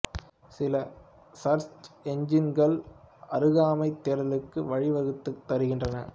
சில சர்ச் எஞ்சின்கள் அருகாமைத் தேடலுக்கு வழி வகுத்துத் தருகின்றன